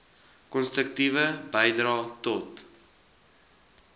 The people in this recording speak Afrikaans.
konstruktiewe bydrae tot